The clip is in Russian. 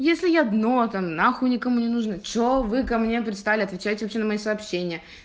если я дно там нахуй никому не нужна что вы ко мне пристали отвечаете на мои сообщения